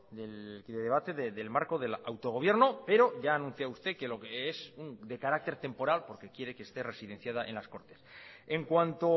del debate del marco del autogobierno pero ya anuncia usted que lo que es de carácter temporal porque quiere que esté residenciada en las cortes en cuanto